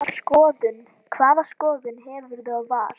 Hvaða skoðun hefurðu á Val?